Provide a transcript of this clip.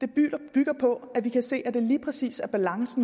bygger på at vi kan se at der lige præcis er balance